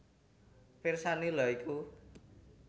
Pirsani lha iku